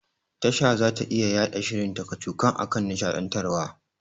Tasha zata iya yaɗa shirin ta kacokan akan nishaɗantarwa.